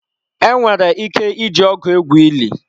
Enwere ike iji ọgụ egwu ili.